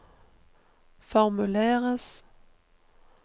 formuleres